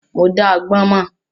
Mo dá agbọ́n mọ́.